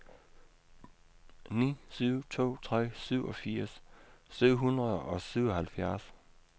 ni syv to tre syvogfirs syv hundrede og syvoghalvfjerds